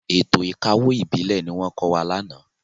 Ètò ìkawó ìbílẹ̀ ni wọ́n kọ́ wa lánàá.